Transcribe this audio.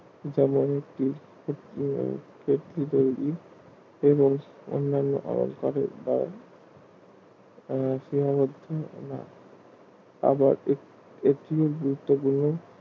যেমন এবং অন্যান্য আই করে যা সীমাবদ্ধ আবার একটি গুরুত্বপূর্ণ